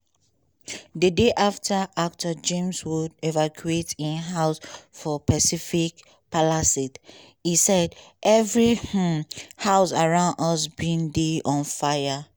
the day after actor james woods evacuated im house for pacific palisades im say "every um house around us bin dey on fire."